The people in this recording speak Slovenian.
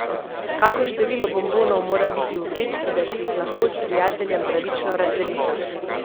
Kako število bonbonov mora biti v vrečki, da si jih lahko s prijateljem pravično razdelita?